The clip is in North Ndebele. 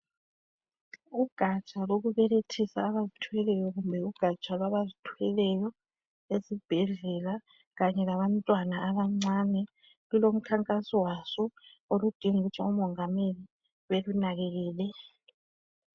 Ugatsha lokubelethisa abazithweleyo kumbe ugatsha lwaba zithweleyo esibhedlela kanye labantwana abancane lulo mkhakaso waso oludinga ukuthi umongameli belunakekele.